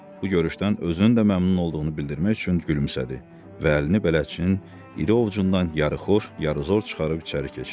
Bu görüşdən özünün də məmnun olduğunu bildirmək üçün gülümsədi və əlini bələdçinin iri ovcundan yarıxoş, yarıxor çıxarıb içəri keçdi.